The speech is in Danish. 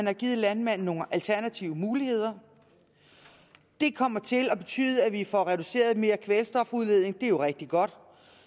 har givet landmanden nogle alternative muligheder det kommer til at betyde at vi får reduceret mere kvælstofudledning og det er jo rigtig godt